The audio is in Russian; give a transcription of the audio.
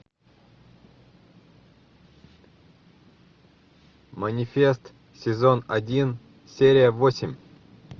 манифест сезон один серия восемь